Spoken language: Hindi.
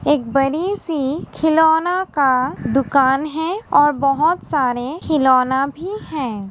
एक बड़ी-सी खिलौना का दुकान है और बोहोत सारे खिलौना भी हैं।